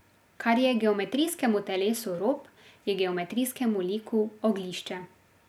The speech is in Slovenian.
Kar je geometrijskemu telesu rob, je geometrijskemu liku oglišče.